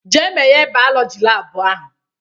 "Gaa meghee bayọlọji laabụ ahụ!